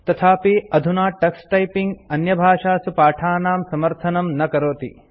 तथापि अधुना Tux typing अन्यभाषासु पाठानां समर्थनं न करोति